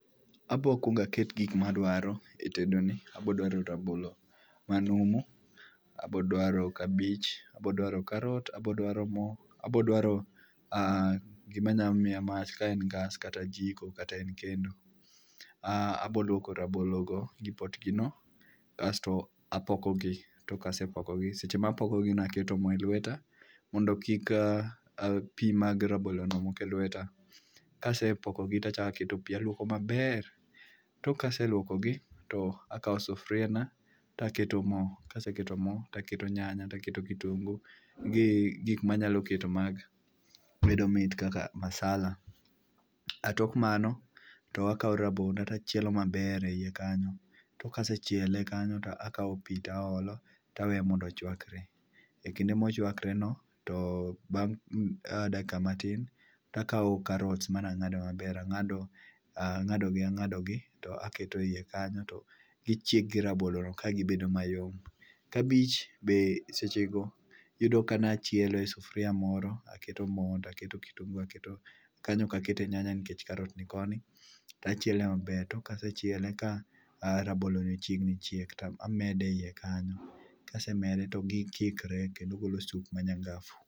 Abo kwongaket gik madwaro e tedo ni. Abo dwaro rabolo ma numu, abodwaro kabich, abodwaro karot, abodwaro mo, abodwaro a gima nya miya mach kata ka en gas kata jiko kata en kendo. Ah abolwoko rabolo go gi potgi no, kasto apokogi. Tok kasepokogi, seche mapokogino aketo mo e lweta mondo kik pi mag ranolo no mok e lweta. Kasepokogi tachakaketo pi alwokogi maber, tok kaseluokogi to akawo sufria na taketo mo, kaseketo mo taketo nyanya, taketo kitungu gi gik ma medo mit kaka masala. Tok mano to akawo rabondo tachielo maber e iye kanyo, tok kasechiele kanyo to akawo pi taolo, taweye mondo chwakre. E kinde mochwakre no, to bang' dakika matin, akawo karots manang'ado maber, ang'ado ang'adogi ang'adogi. To aketogi e iye kanyo, to gichiek gi rabolo mayom. Kabich be seche go yudo ka nachielo e sufria moro, aketo mo aketo kitungu aketo, kanyo okakete nyanya nikech karot ni koni. Ta chiele maber, tok kasechiele ka raboloni ochiegni chiek, tamede e iye kanyo. kasemede to gikikre kendo golo sup manyangafu.